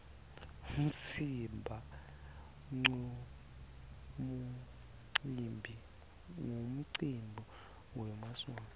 umtsimba nqumcimbi wemaswati